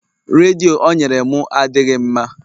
Redio o nyere m adịghị mma